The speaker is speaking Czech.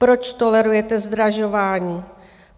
Proč tolerujete zdražování?